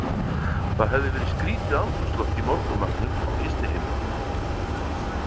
Það hafði verið skrítið andrúmsloft í morgunmatnum á gistiheimilinu.